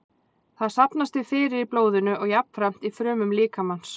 Það safnast því fyrir í blóðinu og jafnframt í frumum líkamans.